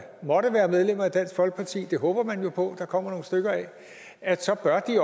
måtte være medlemmer af dansk folkeparti dem håber man jo på at der kommer nogle stykker af så